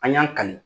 An y'an ka